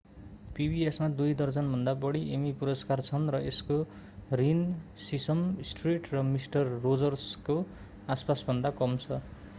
pbs मा दुई दर्जनभन्दा बढी एमी पुरस्कार छन् र यसको रन सिसम स्ट्रीट र मिस्टर रोजर्सको आसपासभन्दा कम छ